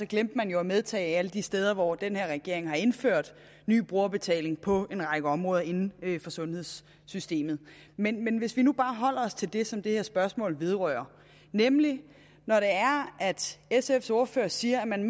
glemte man jo at medtage alle de steder hvor den her regering har indført ny brugerbetaling på en række områder inden for sundhedssystemet men men hvis vi nu bare holder os til det som det her spørgsmål vedrører nemlig at sfs ordfører siger at man